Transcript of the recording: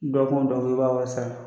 Dɔgɔkun dɔgɔkun i b'a wari sara.